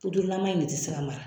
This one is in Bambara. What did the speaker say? Purulama in de tɛ se ka mara